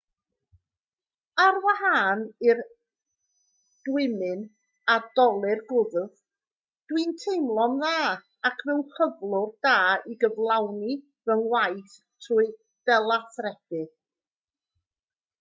ar wahân i'r dwymyn a dolur gwddf dw i'n teimlo'n dda ac mewn cyflwr da i gyflawni fy ngwaith trwy delathrebu